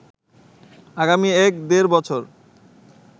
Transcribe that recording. আগামী এক-দেড় বছর